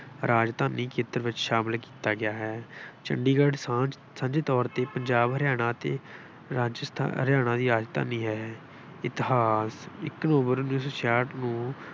ਰਾਜਧਾਨੀ ਖੇਤਰ ਵਿੱਚ ਸ਼ਾਮਿਲ ਕੀਤਾ ਗਿਆ ਹੈ। ਚੰਡੀਗੜ੍ਹ ਸਾਂਝ ਸਾਂਝੇ ਤੌਰ ਤੇ ਪੰਜਾਬ ਹਰਿਆਣਾ ਅਤੇ ਰਾਜਸਥਾਨ, ਹਰਿਆਣਾ ਦੀ ਰਾਜਧਾਨੀ ਹੈ। ਇਤਿਹਾਸ- ਇੱਕ ਨਵੰਬਰ ਉੱਨੀ ਸੌ ਛਿਆਹਠ ਨੂੰ